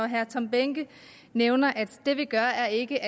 herre tom behnke nævner at det vi gør ikke